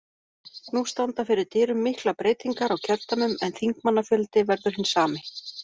Nú standa fyrir dyrum miklar breytingar á kjördæmum en þingmannafjöldi verður hinn sami.